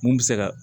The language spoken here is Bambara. Mun bɛ se ka